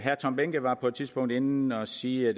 tom behnke var på et tidspunkt inde at sige at